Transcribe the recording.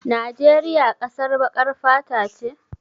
Najeriya ƙasar baƙar fata ce?